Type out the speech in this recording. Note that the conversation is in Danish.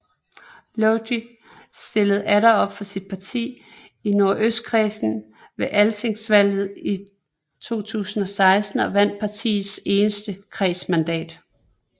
Logi stillede atter op for sit parti i Nordøstkredsen ved altingsvalget i 2016 og vandt partiets eneste kredsmandat